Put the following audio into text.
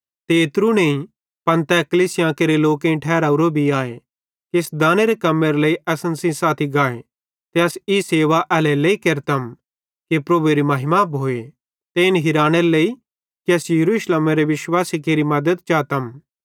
ते एत्रू नईं पन तै कलीसियां केरे लोकेईं ठहरावरो भी आए कि इस दानेरे कम्मेरे लेइ असन सेइं साथी गाए ते अस ई सेवा एल्हेरेलेइ केरतम कि प्रभुएरी महिमा भोए ते इन हिरानेरे लेइ कि अस यरूशलेमेरे विश्वासी लोकां केरि मद्दत चातम